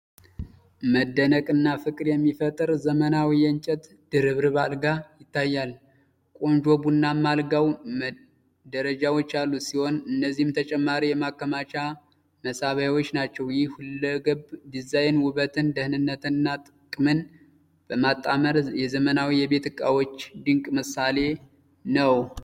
መደነቅና ፍቅር የሚፈጥር ዘመናዊ የእንጨት ድርብርብ አልጋ ይታያል። ቆንጆ ቡናማ አልጋው ደረጃዎች ያሉት ሲሆን፣ እነዚህም ተጨማሪ የማከማቻ መሳቢያዎች ናቸው። ይህ ሁለገብ ዲዛይን ውበትን፣ ደህንነትንና ጥቅምን በማጣመር የዘመናዊ የቤት ዕቃዎች ድንቅ ምሳሌ ነው።